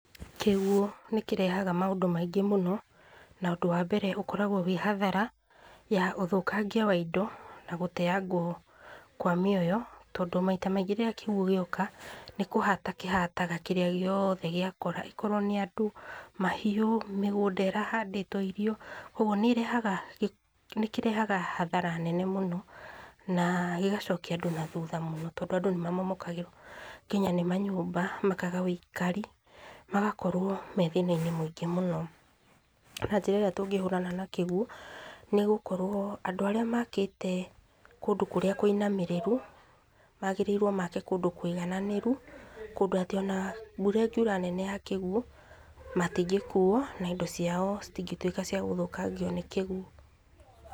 Kĩguũ nĩ kĩrehaga maũndũ maingĩ mũno, na ũndũ wambere ũkoragwo wĩ hathara ya ũthũkangia wa indo na gũteyangwo kwa mĩoyo, tondũ maita maingĩ rĩrĩa kĩguũ gĩoka nĩ kũhata kĩhataga kĩrĩa gĩothe gĩakora, ĩkorwo nĩ andũ, mahiũ, mĩgũnda ĩrahandĩtwo irio, ũgwo nĩrehaga, nĩkĩrehaga hathara nene mũno na gĩgacokia andũ na thuutha mũno, tondũ andũ nĩmamomokagĩrwo nginya nĩ manyũmba makaga wĩikari, magakorwo me thĩna-inĩ mwĩngĩ mũno. Na njĩra ĩrĩa tũngĩhũrana na kĩguũ nĩ gũkorwo andũ arĩa makĩte kũndũ kũrĩa kwĩnamĩrĩru, magĩrĩirwo make kũndũ kwĩgananĩru, kũndũ atĩ ona mbura ĩngiura nene ya kĩguũ matingĩkuo na indo ciao citingĩtuĩka cia gũthũkangio nĩ kĩguũ.